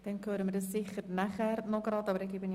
Dann hören wir sicher nachher noch etwas dazu.